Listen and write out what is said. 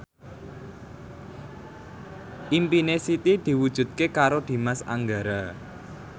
impine Siti diwujudke karo Dimas Anggara